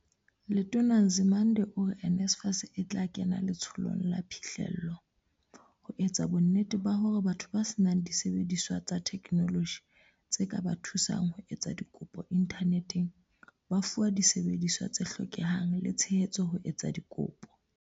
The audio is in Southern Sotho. Letona Nzimande ore NSFAS e tla kena letsholong la phihlello, ho etsa bonnete ba hore batho ba senang disebediswa tsa theknoloji tse ka ba thusang ho etsa dikopo inthaneteng ba fiwa disebediswa tse hlokehang le tshehetso ho etsa dikopo.